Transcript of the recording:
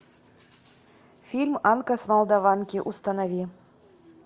фильм анка с молдаванки установи